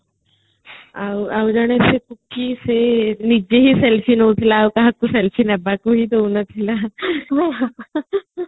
ଆଉ ଜଣେ କିଆ ନିଜେ ହିଁ selfie ନଉଥିଲା ଆଉ କାହାକୁ selfie ନବାକୁ ହଁି ଦଉନଥିଲା|